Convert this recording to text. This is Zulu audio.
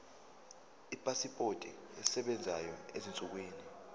ipasipoti esebenzayo ezinsukwini